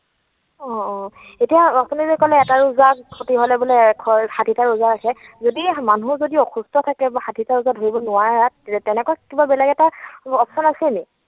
অ, অ। এতিয়া আপুনি যে কলে এটা ৰোজা ক্ষতি হলে বোলে ষাঠিটা ৰোজা ৰাখে, যদি মানুহ যদি অসুস্থ থাকে বা ষাঠিটা ৰোজা ধৰিব নোৱাৰাত তেনেকুৱা কিবা বেলেগ এটা option আছে নেকি?